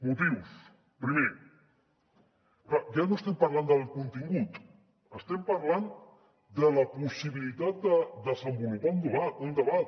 motius primer clar ja no estem parlant del contingut estem parlant de la possibilitat de desenvolupar un debat